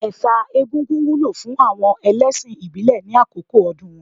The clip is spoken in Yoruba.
Ẹ̀sà egúngún wúlò fún àwọn ẹlẹ́ṣìn ìbílẹ̀ ní àkókò ọdún wọn.